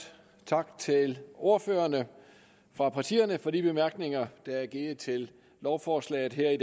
tak til ordførerne fra partierne for de bemærkninger der er givet til lovforslaget her i